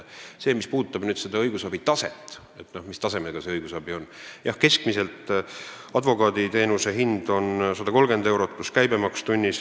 Mis puudutab nüüd seda, mis tasemega see õigusabi on, siis jah, keskmiselt on advokaaditeenuse tunnihind 130 eurot pluss käibemaks.